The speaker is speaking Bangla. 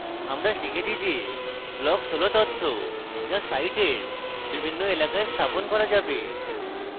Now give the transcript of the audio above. আগে শিখেছি যে blocks হল তথ্য যা সাইটের বিভিন্ন এলাকায় স্থাপন করা যাবে